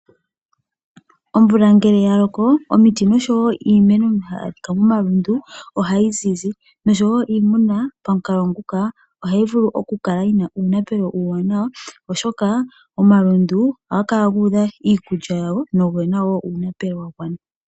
Omvula ngele ya loko, omiti noshowo iimeno hayi adhika momalundu ohayi zizi, noshowo iimuna pamukalo nguka ohayi vulu oku kala yi na uunapelo uuwanawa oshoka omalundu ohaga kala guudha iikulya yawo noge na uunapelo wa gwana.